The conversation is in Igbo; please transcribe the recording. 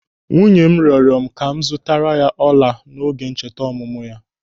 Nwunye m rịọrọ m ka m zụtara ya ọla n'oge ncheta ọmụmụ ya.